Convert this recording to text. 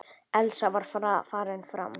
Elsa var farin fram.